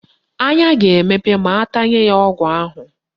Anya ga-emepe ma atanye ya ọgwụ ahụ